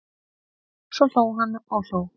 Svo hló hann og hló.